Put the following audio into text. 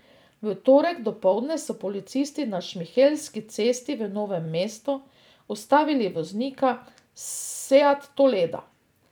V torek dopoldne so policisti na Šmihelski cesti v Novem mestu ustavili voznika seata toleda.